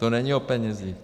To není o penězích.